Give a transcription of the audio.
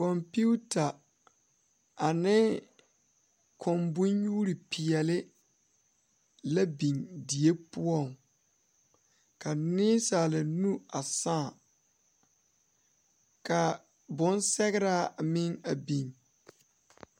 Konpita ane kõɔ banyuure peɛle la biŋ die poɔ ka nensaala nu a saa kaa bonsɛgra a meŋ biŋ.